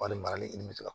Walima ni nin bɛ fɛ ka